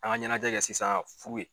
An ka ɲɛnajɛ kɛ sisan fu ye.